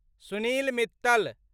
Sunil Mittal